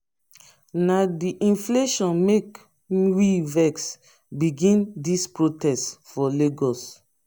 na di inflation make we vex begin dis protest for lagos.